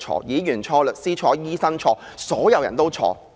議員錯、律師錯、醫生錯，所有人都錯。